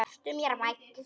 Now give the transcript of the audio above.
Vertu mér vænn.